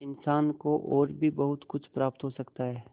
इंसान को और भी बहुत कुछ प्राप्त हो सकता है